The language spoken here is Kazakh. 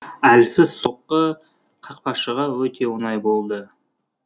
әлсіз соққы қақпашыға өте оңай болды